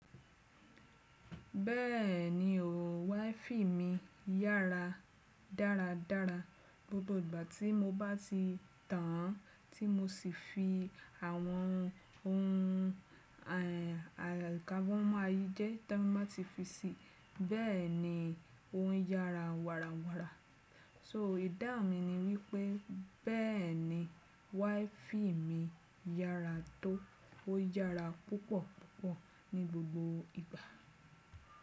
Bẹ́ẹ̀ni o, wáífì mi yára dáradára gbogbo ìgbà tí mo bá ti tàn án tí mo sì fi àwọn ohun àlùkábọ́mọ́ ayé jẹ́ tá mọ́ ti fi síi. Bẹ́ẹ̀ni, ó ń yára wàràwàrà. So idáhun mi ni wípé bẹ́ẹ̀ni wáífì mi yára tó, ó yára púpọ̀púpọ̀ ní gbogbo ìgbà.